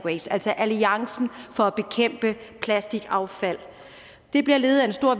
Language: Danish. waste altså alliancen for at bekæmpe plastikaffald det bliver ledet af en stor